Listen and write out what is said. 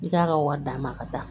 I k'a ka wari d'a ma ka taa